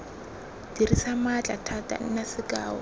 dirisa maatla thata nna sekao